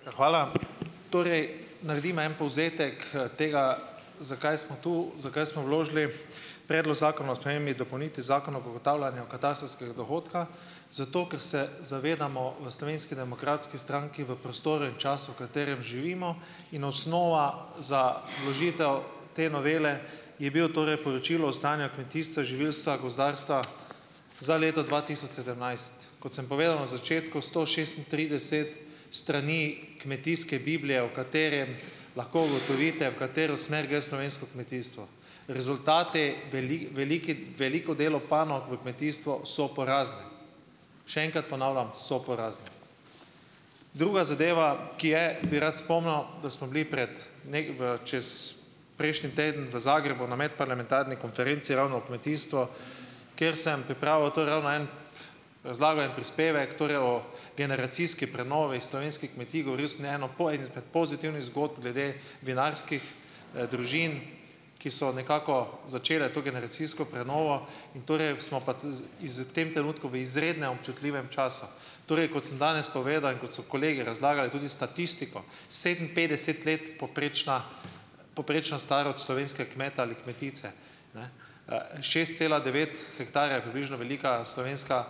Ja, Hvala. Torej, naredimo en povzetek tega, zakaj smo tu, zakaj smo vložili Predlok zakona o spremembi in dopolnitvi Zakona o ugotavljanju katastrskega dohodka. Zato, ker se zavedamo v Slovenski demokratski stranki v prostoru in času, v katerem živimo, in osnova za vložitev te novele je bilo torej poročilo o stanju v kmetijstva, živilstva, gozdarstva za leto dva tisoč sedemnajst. Kot sem povedal na začetku, sto šestintrideset strani kmetijske biblije, o katerem lahko ugotovite, v katero smer gre slovensko kmetijstvo. Rezultati, veliki veliko delo panog v kmetijstvu so porazni. Še enkrat ponavljam: so porazni. Druga zadeva, ki je bi rad spomnil, da smo bili prej v čez - prejšnji teden v Zagrebu na medparlamentarni konferenci, ravno o kmetijstvu, kjer sem pripravil, to je ravno en - razlagal en prispevek, torej, o generacijski prenovi slovenskih kmetij. Govoril sem eno izmed pozitivnih zgodb glede vinarskih družin, ki so nekako začele to generacijsko prenovo in torej smo pa iz v tem trenutku v izrednem občutljivem času. Torej, kot sem danes povedal in kot so kolegi razlagali tudi statistiko: sedeminpetdeset let povprečna povprečna starost slovenskega kmeta ali kmetice. Ne, šest cela devet hektarja je približno velika slovenska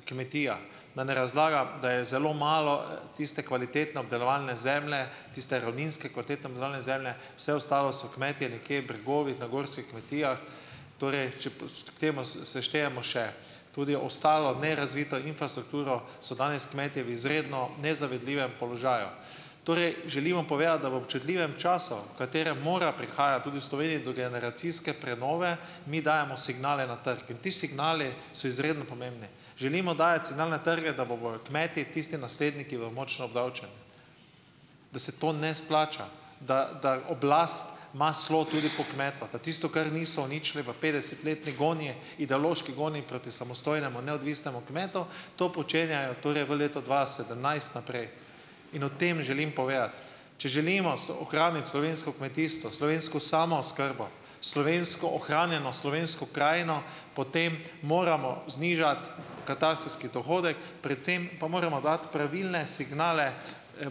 kmetija. Da ne razlagam, da je zelo malo tiste kvalitetne obdelovalne zemlje, tiste ravninske kvalitetne obdelovane zemlje, vse ostalo so kmetje nekje v bregovih, na gorskih kmetijah. Torej, če k temu seštejemo še tudi ostalo nerazvito infrastrukturo, so danes kmetje v izredno nezavidljivem položaju. Torej želimo povedati, da v občutljivem času, v katerem mora prihajati tudi v Sloveniji do generacijske prenove, mi dajemo signale na trg. In ti signali so izredno pomembni. Želimo dajati signal na trge, da bojo kmeti tisti naslednji, ki bodo močno obdavčeni, da se to ne splača, da da oblast ima slo tudi po kmetu, da tisto, kar niso uničili v petdesetletni gonji, ideološki gonji proti samostojnemu, neodvisnemu kmetu, to počenjajo torej v letu dva sedemnajst naprej. In o tem želim povedati. Če želimo ohraniti slovensko kmetijstvo, slovensko samooskrbo, slovensko, ohranjeno slovensko krajino, potem moramo znižati katastrski dohodek, predvsem pa moramo dati pravilne signale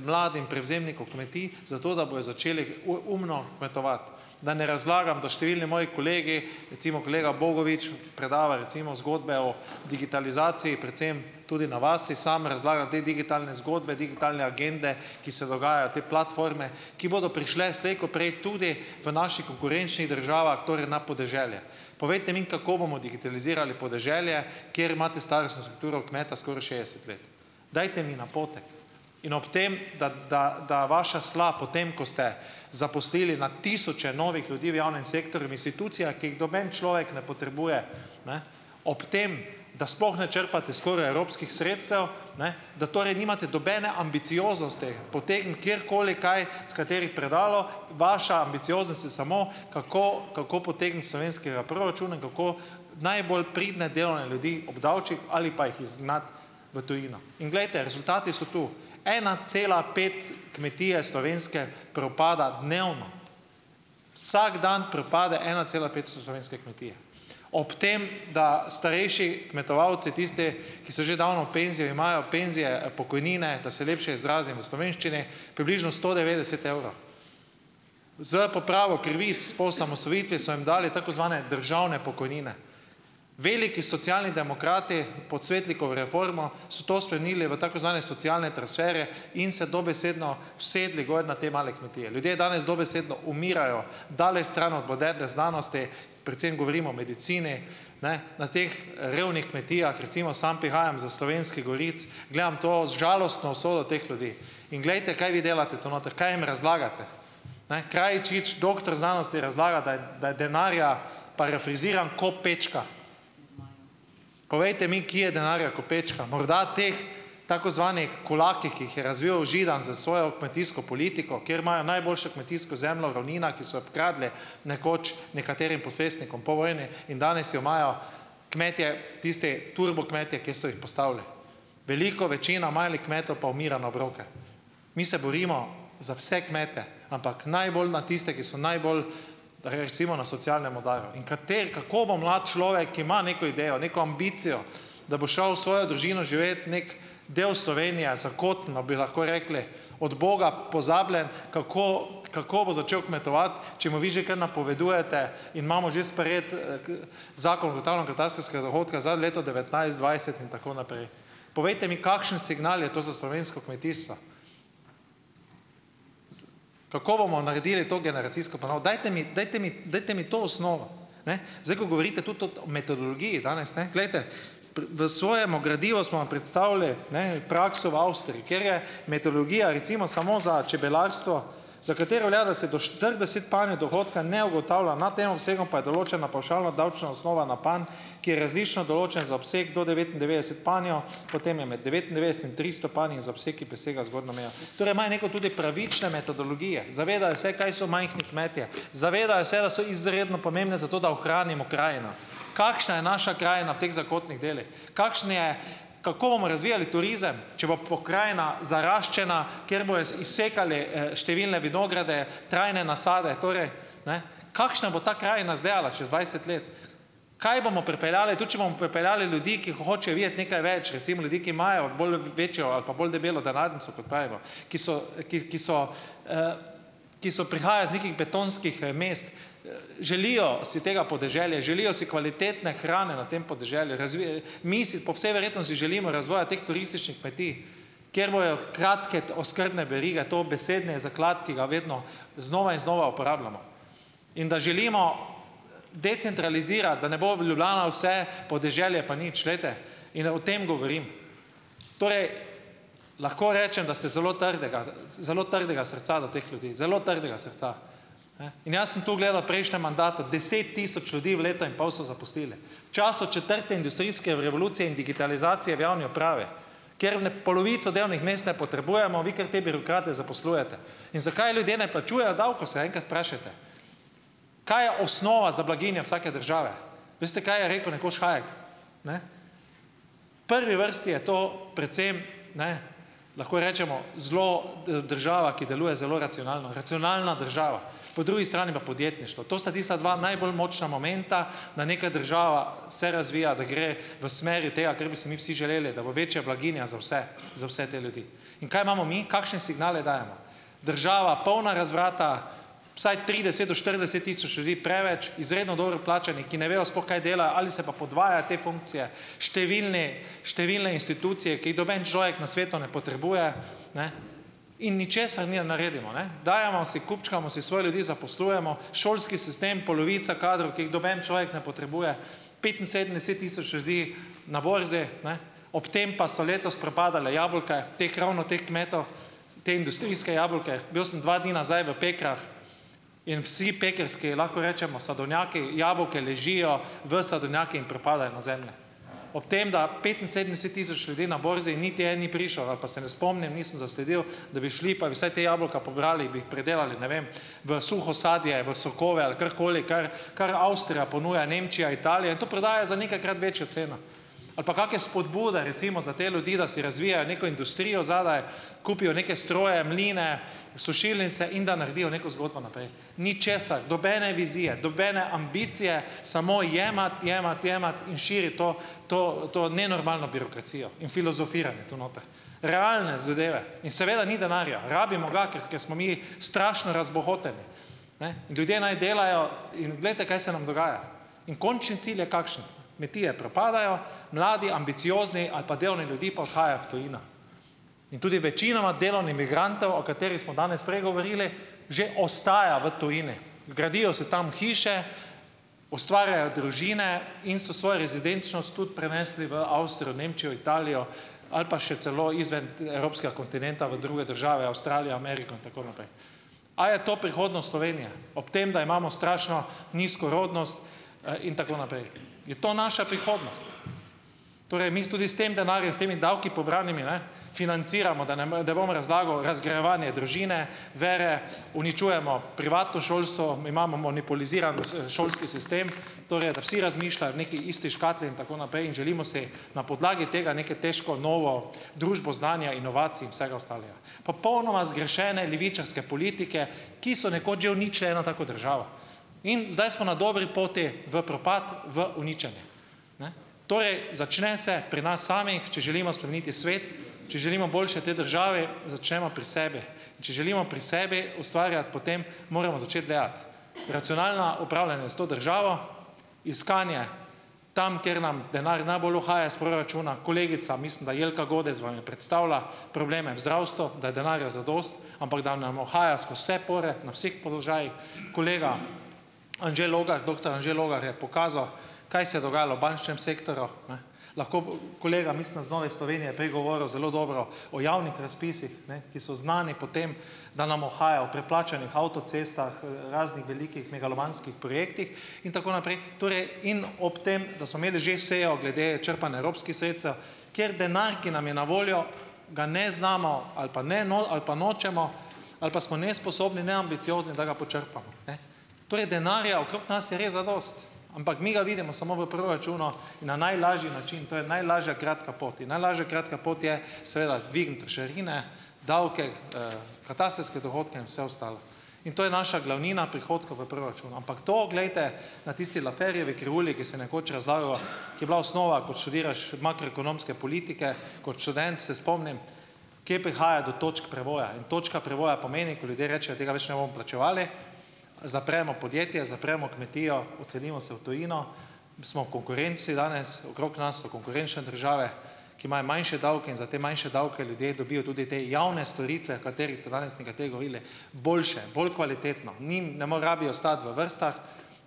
mladim prevzemnikom kmetij zato, da bojo začeli umno kmetovati. Da ne razlagam, da številni moji kolegi, recimo kolega Bogovič, predava recimo zgodbe o digitalizaciji, predvsem tudi na vasi samo razlaga te digitalne zgodbe, digitalne agende, ki se dogajajo, te platforme, ki bodo prišle slej ko prej tudi v naših konkurenčnih državah, torej na podeželje. Povejte mi, kako bomo digitalizirali podeželje, kjer imate starostno strukturo kmeta skoraj šestdeset let. Dajte mi napotek. In ob tem, da da da vaša sla, potem ko ste zaposlili na tisoče novih ljudi v javnem sektorju, v institucijah, ki jih noben človek ne potrebuje, ne, ob tem, da sploh ne črpate skoraj evropskih sredstev, ne, da torej nimate nobene ambicioznosti potegniti kjerkoli kaj iz katerih predalov. Vaša ambicioznost je samo, kako kako potegniti iz slovenskega proračuna, kako najbolj pridne delovne ljudi obdavčiti, ali pa jih izgnati v tujino. In glejte, rezultati so tu. Ena cela pet kmetije slovenske propada dnevno. Vsak dan propade ena cela pet slovenske kmetije. Ob tem, da starejši kmetovalci, tisti, ki so že davno v "penziji", imajo "penzije", pokojnine, da se lepše izrazim v slovenščini, približno sto devetdeset evrov. S popravo krivic po osamosvojitvi so jim dali tako zvane državne pokojnine. Veliki Socialni demokrati, pod Svetlikovo reformo, so to spremenili v tako zvane socialne transferje in se dobesedno usedli gor na te male kmetije. Ljudje danes dobesedno umirajo daleč stran od moderne znanosti, predvsem govorim o medicini. Ne, na teh revnih kmetijah, recimo, samo prihajam iz Slovenskih goric, gledam to žalostno usodo teh ljudi. In glejte, kaj vi delate tu noter, kaj jim razlagate. Ne, Krajčič, doktor znanosti, razlaga, da je da je denarja, parafraziram, "ko pečka". Povejte mi, kje je denarja "ko pečka"? Morda teh, tako "zvanih" kulakih, ki jih je razvil Židan s svojo kmetijsko politiko, kjer imajo najboljšo kmetijsko zemljo v ravninah, ki so jo pokradli nekoč nekaterim posestnikom po vojni in danes jo imajo kmetje, tisti turbo kmetje, ki so jih postavili. Velika večina malih kmetov pa umira na obroke. Mi se borimo za vse kmete, ampak najbolj na tiste, ki so najbolj recimo na socialnem udaru, in kateri, kako bo mlad človek, ki ima neko idejo, neko ambicijo, da bo šel s svojo družino živet v nek del Slovenije zakoten, bi lahko rekli, od Boga pozabljen, kako kako bo začel kmetovati, če mu vi že kar napovedujete, imamo že sprejeti Zakon o ugotavljanju katastrskega dohodka za leto devetnajst, dvajset in tako naprej? Povejte mi, kakšen signal je to za slovensko kmetijstvo? Kako bomo naredili to generacijsko? Pa no, dajte mi, dajte mi, dajte mi to osnovo. Ne, zdaj, ko govorite tudi o metodologiji danes, ne, glejte, v svojemu gradivu smo vam predstavili, ne, prakso v Avstriji, kjer je metodologija, recimo, samo za čebelarstvo, za katero velja, da se do štirideset panjev dohodka ne ugotavlja, nad tem obsegom pa je določena pavšalno davčna osnova na panj, ki je različno določen za obseg do devetindevetdeset panjev, potem je med devetindevetdeset in tristo panji za obseg, ki presega zgornjo mejo. Torej imajo neko tudi pravične metodologije. Zavedajo se, kaj so majhni kmetje, zavedajo se, da so izredno pomembne za to, da ohranimo krajino. Kakšna je naša krajina v teh zakotnih delih? Kakšen je, kako bomo razvijali turizem, če bo pokrajina zaraščena, ker bojo izsekali številne vinograde, trajne nasade, torej, ne, kakšna bo ta krajina izgledala čez dvajset let? Kaj bomo pripeljali, tudi če bomo pripeljali ljudi, ki hočejo videti nekaj več, recimo ljudi, ki imajo bolj večjo ali pa bolj debelo denarnico, kot pravimo, ki so, ki ki so ki so prihajajo iz nekih betonskih mest? Želijo si tega podeželja, želijo si kvalitetne hrane na tem podeželju. Mi si po vsej verjetnosti želimo razvoja teh turističnih kmetij, ker bojo kratke oskrbne verige dobesedni zaklad, ki ga vedno znova in znova uporabljamo. In da želimo decentralizirati, da ne bo v Ljubljana vse, podeželje pa nič. Glejte, in o tem govorim. Torej, lahko rečem, da ste zelo trdega, zelo trdega srca do teh ljudi, zelo trdega srca. Ne, in jaz sem tu gledal v prejšnjem mandatu, deset tisoč ljudi v letu in pol so zaposlili. V času četrte industrijske revolucije in digitalizacije v javni upravi, ker ne polovico delovnih mest ne potrebujemo, vi kar te birokrate zaposlujete. In zakaj ljudje ne plačujejo davkov, se enkrat vprašajte. Kaj je osnova za blaginjo vsake države? Veste, kaj je rekel nekoč Hajek, ne. Prvi vrsti je to predvsem, ne, lahko rečemo, zelo država, ki deluje zelo racionalno, racionalna država, po drugi strani pa podjetništvo. To sta tista dva najbolj močna momenta, da neka država se razvija, da gre v smeri tega, kar bi si mi vsi želeli, da bo večja blaginja za vse, za vse te ljudi. In kaj imamo mi? Kakšne signale dajemo? Država polna razvrata. Vsaj trideset do štirideset tisoč ljudi preveč, izredno dobro plačanih, ki ne vejo sploh, kaj delajo, ali se pa podvaja te funkcije. Številne številne institucije, ki jih noben človek na svetu ne potrebuje, ne. In ničesar ne naredimo, ne. Dajemo si, kupčkamo si, svoje ljudi zaposlujemo. Šolski sistem, polovica kadrov, ki jih noben človek ne potrebuje. Petinsedemdeset tisoč ljudi na borzi, ne. Ob tem pa so letos propadala jabolka teh, ravno teh kmetov, ta industrijska jabolka. Bil sem dva dni nazaj v Pekrah in vsi pekrski, lahko rečemo, sadovnjaki, jabolka ležijo v sadovnjakih in propadajo na zemlji, ob tem da petinsedemdeset tisoč ljudi na borzi, niti en ni prišel ali pa se ne spomnim, nisem zasledil, da bi šli, pa bi vsaj te jabolka pobrali, bi jih pridelali, ne vem, v suho sadje, v sokove ali karkoli, kar kar Avstrija ponuja, Nemčija, Italija in to prodajajo za nekajkrat večjo ceno. Ali pa kakšne vzpodbude, recimo, za te ljudi, da si razvijajo neko industrijo zadaj, kupijo neke stroje, mline, sušilnice in da naredijo neko zgodbo naprej. Ničesar, nobene vizije, nobene ambicije, samo jemati, jemati, jemati in širiti to to to nenormalno birokracijo in filozofiranje tu noter. Realne zadeve. In seveda ni denarja, rabimo ga, ker ker smo mi strašno razbohoteni. Ne, ljudje naj delajo in glejte, kaj se nam dogaja. In končno cilj je kakšen? Kmetije propadajo, mladi ambiciozni ali pa delovni ljudje pa odhajajo v tujino. In tudi večinoma delovnih migrantov, o katerih smo danes prej govorili, že ostaja v tujini. Gradijo si tam hiše, ustvarjajo družine in so svojo rezidenčnost tudi prenesli v Nemčijo, Italijo, Avstrijo ali pa še celo izven evropskega kontinenta, v druge države, Avstralija, Ameriko in tako naprej. A je to prihodnost Slovenije, ob tem, da imamo strašno nizko rodnost in tako naprej? Je to naša prihodnost? Torej, mi s tudi s tem denarjem in s temi davki, pobranimi, ne, financiramo, da ne bom, ne bom razlagal, razgrajevanje družine, vere, uničujemo privatno šolstvo, mi imamo monopoliziran šolski sistem, torej, da vsi razmišljajo v neki isti škatli in tako naprej in želimo si na podlagi tega, neke težko novo družbo znanja, inovacij in vsega ostalega. Popolnoma zgrešene levičarske politike, ki so nekoč že uničile eno tako državo. In zdaj smo na dobri poti v propad, v uničenje. Ne. Torej začne se pri nas samih, če želimo spremeniti svet, če želimo boljše tej državi, začnemo pri sebi. Če želimo pri sebi ustvarjati, potem moramo začeti gledati. Racionalna upravljanja s to državo, iskanje tam, kjer nam denar najbolj uhaja iz proračuna. Kolegica, mislim da Jelka Godec, vam je predstavila probleme v zdravstvu, da je denarja zadosti, ampak da nam uhaja skozi vse pore na vseh položajih. Kolega Anže Logar, doktor Anže Logar je pokazal, kaj se je dogajalo v bančnem sektorju. Ne. Lahko kolega, mislim da iz Nove Slovenije, prej govoril zelo dobro o javnih razpisih, ne, ki so znani po tem, da nam uhajajo v preplačanih avtocestah, raznih velikih megalomanskih projektih in tako naprej. Torej in ob tem, da smo imeli že sejo glede črpanja evropskih sredstev, kjer denar, ki nam je na voljo, ga ne znamo ali pa ne ali pa nočemo ali pa smo nesposobni, neambiciozni, da ga počrpamo, ne. Torej denarja okrog nas je res zadosti, ampak mi ga vidimo samo v proračunu in na najlažji način, to je najlažja kratka pot. In najlažja kratka pot je seveda dvigniti trošarine, davke, katastrske dohodke in vse ostalo. In to je naša glavnina prihodkov v proračunu. Ampak to, glejte, na tisti Lafferjevi krivulji, ki se je nekoč razlagalo, ki je bila osnova, ko študiraš makroekonomske politike kot študent, se spomnim, kje prihaja do točk prevoja. In točka prevoja pomeni, ko ljudje rečejo, tega več ne bomo plačevali, zapremo podjetje, zapremo kmetijo, odselimo se v tujino, smo v konkurenci danes, okrog nas so konkurenčne države, ki imajo manjše davke in za te manjše davke ljudje dobijo tudi te javne storitve, o katerih ste danes nekateri govorili, boljše, bolj kvalitetno, ni, ne rabijo stati v vrstah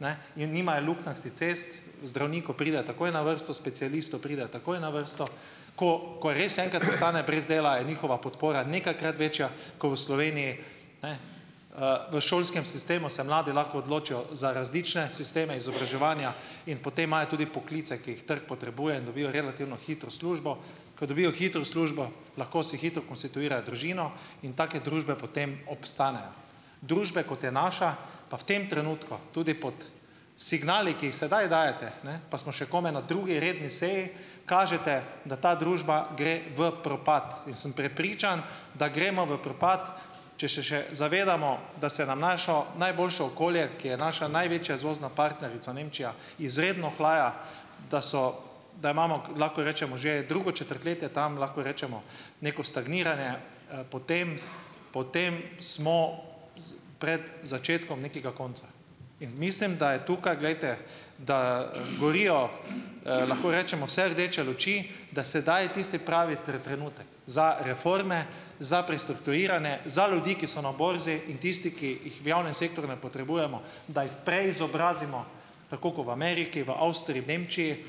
ne, in nimajo luknjastih cest, zdravniku pride takoj na vrsto, specialistu pride takoj na vrsto. Ko ko res enkrat ostane brez dela, je njihova podpora nekajkrat večja ko v Sloveniji, ne. V šolskem sistemu se mladi lahko odločijo za različne sisteme izobraževanja in potem imajo tudi poklice, ki jih trg potrebuje, in dobijo relativno hitro službo. Ko dobijo hitro službo, lahko si hitro konstituirajo družino in take družbe potem obstanejo. Družbe, kot je naša, pa v tem trenutku tudi pod signali, ki jih sedaj dajete, ne, pa smo še komaj na drugi redni seji, kažete, da ta družba gre v propad. In sem prepričan, da gremo v propad, če še še zavedamo, da se na naše najboljše okolje, ki je naša največja izvozna partnerica, Nemčija, izredno ohlaja, da so, da imamo, lahko rečemo, že drugo četrtletje tam, lahko rečemo, neko stagniranje, potem potem smo pred začetkom nekega konca. In mislim, da je tukaj, glejte, da gorijo, lahko rečemo, vse rdeče luči, da sedaj je tisti pravi trenutek za reforme, za prestrukturiranje, za ljudi, ki so na borzi, in tisti, ki jih v javnem sektorju ne potrebujemo, da jih preizobrazimo tako kot v Ameriki, v Avstriji, v Nemčiji,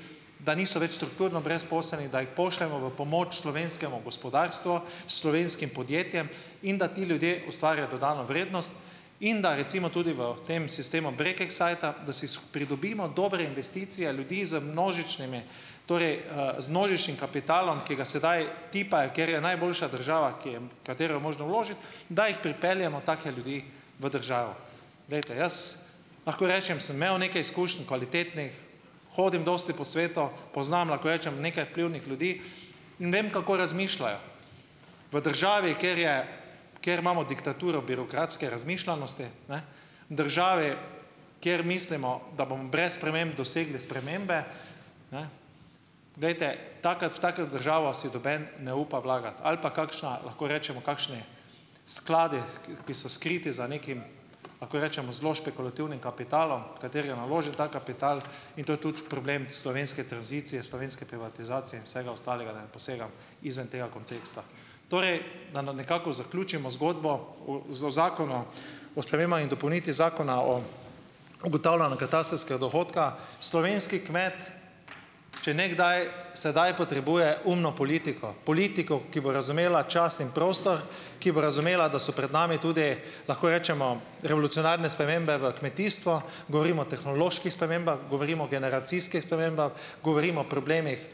da niso več strukturno brezposelni, da jih pošljemo v pomoč slovenskemu gospodarstvu, slovenskim podjetjem, in da ti ljudje ustvarjajo dodano vrednost in da recimo tudi v tem sistemu Brekeksajta, da si pridobimo dobre investicije ljudi z množičnimi, torej z množičnim kapitalom, ki ga sedaj tipajo, kjer je najboljša država, ki je, v katero je možno vložiti, da jih pripeljemo take ljudi v državo. Glejte, jaz lahko rečem, sem imel nekaj izkušenj kvalitetnih, hodim dosti po svetu, poznam, lahko rečem, nekaj vplivnih ljudi in vem, kako razmišljajo. V državi, kjer je, kjer imamo diktaturo birokratske razmišljanosti, ne v državi, kjer mislimo, da bomo brez sprememb dosegli spremembe, ne, glejte, taka, v tako državo si noben ne upa vlagati ali pa kakšna, lahko rečemo, kakšni skladi, ki so skriti za nekim, lahko rečemo zelo špekulativnim kapitalom, katerega naloži ta kapital, in to je tudi problem slovenske tranzicije, slovenske privatizacije in vsega ostalega, da ne posegam izven tega konteksta. Torej, da na nekako zaključimo zgodbo o Zakonu o spremembah in dopolnitvi Zakona o ugotavljanju katastrskega dohodka. Slovenski kmet, če ne kdaj, sedaj potrebuje umno politiko, politiko, ki bo razumela čas in prostor, ki bo razumela, da so pred nami tudi, lahko rečemo, revolucionarne spremembe v kmetijstvu. Govorimo o tehnoloških spremembah, govorimo o generacijskih spremembah, govorimo o problemih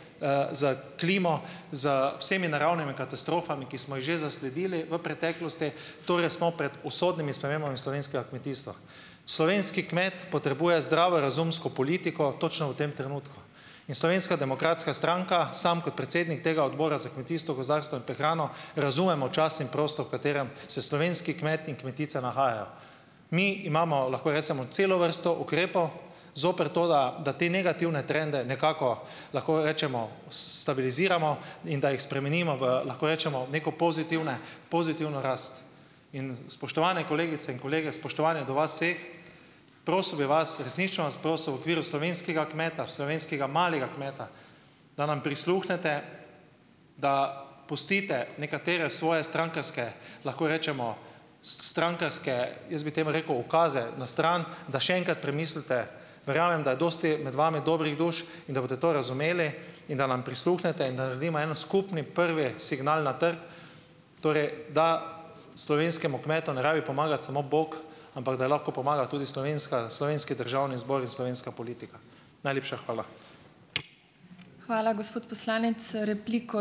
s klimo, z vsemi naravnimi katastrofami, ki smo jih že zasledili v preteklosti, torej smo pred usodnimi spremembami slovenskega kmetijstva. Slovenski kmet potrebuje zdravorazumsko politiko točno v tem trenutku. In Slovenska demokratska stranka, sam kot predsednika tega Odbora za kmetijstvo, gozdarstvo in prehrano, razumemo čas in prostor, v katerem se slovenski kmet in kmetica nahajajo. Mi imamo, lahko rečemo, celo vrsto ukrepov zoper to, da da te negativne trende nekako, lahko rečemo, stabiliziramo in da jih spremenimo v, lahko rečemo, neko pozitivne pozitivno rast. In spoštovane kolegice in kolegi, s spoštovanjem do vas vseh, prosil bi vas, resnično bi vas prosil, v okviru slovenskega kmeta, slovenskega malega kmeta, da nam prisluhnete, da pustite nekatere svoje strankarske, lahko rečemo, strankarske, jaz bi temu rekel, ukaze na stran, da še enkrat premislite. Verjamem, da je dosti med vami dobrih duš in da boste to razumeli, in da nam prisluhnete, da naredimo en skupni prvi signal na trg torej, da slovenskemu kmetu ne rabi pomagati samo bog, ampak da lahko pomaga tudi slovenska slovenski Državni zbor in slovenska politika. Najlepša hvala.